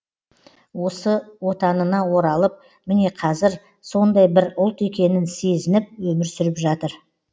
осы отанына оралып міне қазір сондай бір ұлт екенін сезініп өмір сүріп жатыр